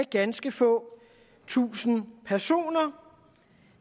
ganske få tusinde personer